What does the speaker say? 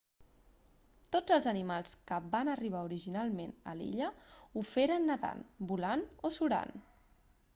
tots els animals que van arribar originalment a l'illa ho feren nadant volant o surant